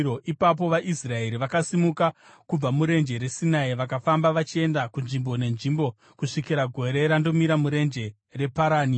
Ipapo vaIsraeri vakasimuka kubva murenje reSinai, vakafamba vachienda kunzvimbo nenzvimbo kusvikira gore randomira murenje reParani.